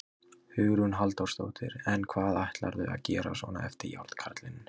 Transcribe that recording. Hugrún Halldórsdóttir: En hvað ætlarðu að gera svona eftir Járnkarlinn?